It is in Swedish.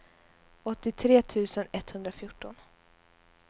åttiotre tusen etthundrafjorton